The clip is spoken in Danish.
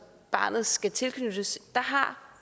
barnet skal tilknyttes